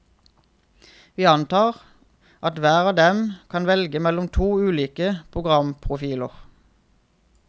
Vi antar at hver av dem kan velge mellom to ulike programprofiler.